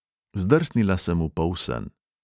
Zdrsnila sem v polsen.